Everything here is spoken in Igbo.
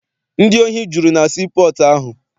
Ndị ohi juru na sii pọọtụ ahụ.